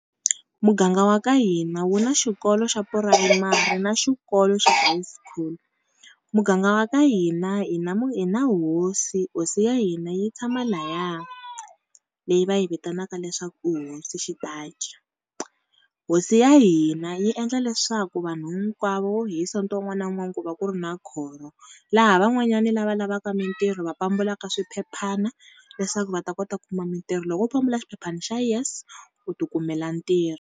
Muganga wa ka hina wu na xikolo xa purayimari na xikolo xa high school. Muganga wa ka hina hi na hosi hosi ya hina yi tshama laya, leyi va yi vitanaka leswaku hosi . Hosi ya hina yi endla leswaku vanhu hinkwavo hi sonto wun'wana na wun'wani ku va ku ri na khoro, laha van'wanyani lava lavaka mintirho va pambulaka swiphephana leswaku va ta kota ku kuma mintirho. Loko wo pambula xiphephani xa yes, u ti kumela ntirho.